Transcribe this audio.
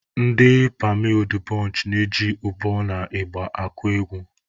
Ndị pammy udubonchị na-eji ụbọ na ịgba agụ egwu.